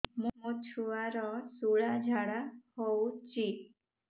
ମୋ ଛୁଆର ସୁଳା ଝାଡ଼ା ହଉଚି